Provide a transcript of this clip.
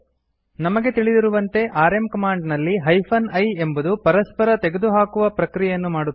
ನಮಗೆ ತಿಳಿದಿರುವಂತೆ RM command ನಲ್ಲಿ ಹೈಫೆನ್ I ಎಂಬುದು ಪರಸ್ಪರ ತೆಗೆದುಹಾಕುವ ಪ್ರಕ್ರಿಯೆಯನ್ನು ಮಾಡುತ್ತದೆ